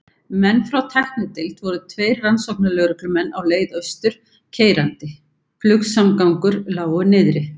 menn frá tæknideild voru tveir rannsóknarlögreglumenn á leið austur keyrandi- flugsamgöngur lágu niðri.